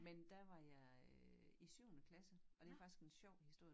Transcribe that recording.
Men der var jeg øh i syvende klasse og det faktisk en sjov historie